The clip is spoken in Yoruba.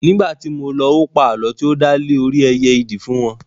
Nígbàtí mo lọ, ó pa àlọ́ tí ó dá lé orí ẹyẹ ìdì fún wọn